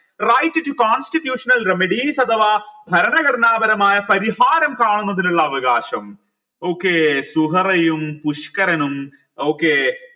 right to constitutional remedies അഥവാ ഭരണഘടനാപരമായ പരിഹാരം കാണുന്നതിനുള്ള അവകാശം okay സുഹറയും പുഷ്കരനും okay